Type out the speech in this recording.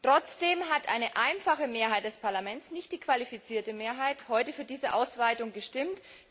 Trotzdem hat eine einfache Mehrheit des Parlaments nicht die qualifizierte Mehrheit heute für diese Ausweitung gestimmt.